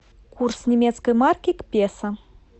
курс немецкой марки к песо